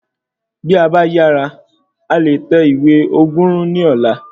Bí a ba yàrá, a leè tẹ ìwé ogurun ní ọ̀la